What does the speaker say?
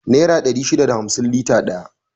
Nera dari shida da hamsin lita daya